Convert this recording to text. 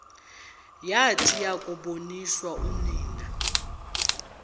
yathi yakuboniswa unina